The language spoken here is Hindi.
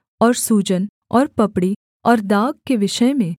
और सूजन और पपड़ी और दाग के विषय में